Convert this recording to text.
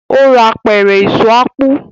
o rà Apẹ̀rẹ̀ Èso ápù